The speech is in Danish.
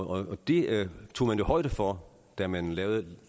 og det tog man jo højde for da man lavede